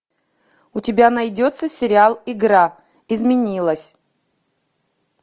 у тебя найдется сериал игра изменилась